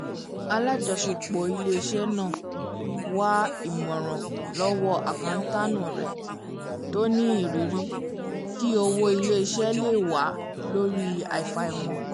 alájọsọpọ ilé-iṣẹ́ náà wá ìmọ̀ràn lọ́wọ́ akántáànù rẹ̀ tó ní ìrírí kí owó ilé-iṣẹ́ le wà lórí afaimọ̀